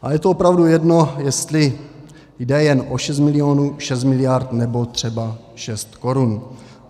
A je to opravdu jedno, jestli jde jen o šest milionů, šest miliard nebo třeba šest korun.